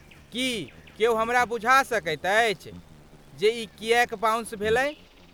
की केओ हमरा बुझा सकैत अछि जे ई किएक बाउंस भेलै?